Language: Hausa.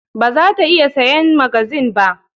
Bara ta iya siyan magazine ba.